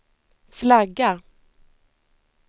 flagga